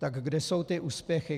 Tak kde jsou ty úspěchy?